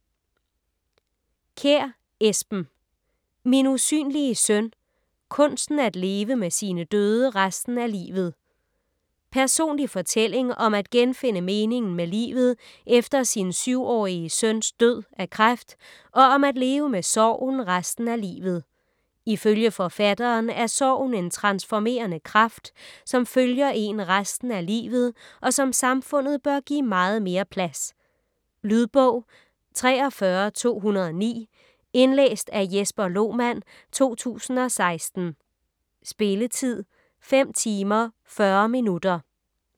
Kjær, Esben: Min usynlige søn - kunsten at leve med sine døde resten af livet Personlig fortælling om at genfinde meningen med livet efter sin 7-årige søns død af kræft, og om at leve med sorgen resten af livet. Ifølge forfatteren er sorgen en transformerende kraft, som følger én resten af livet, og som samfundet bør give meget mere plads. Lydbog 43209 Indlæst af Jesper Lohmann, 2016. Spilletid: 5 timer, 40 minutter.